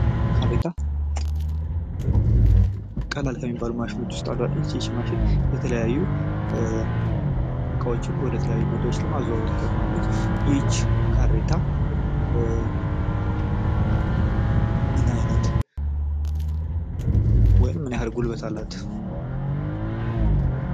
ካሬታ ቀላል ከሚባሉ ማሽኖች ውስጥ አንዷ ነች። ይች ማሽን የተለያዩ እቃዎችን ወደ ተለያዩ ቦታዎች ለማዘዋወር ትጠቅማለች ይች ካሬታ ምን አይነት ወይም ምን ያህል ጉልበት አላት?